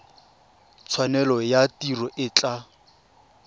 tshwanelo ya tiro e tla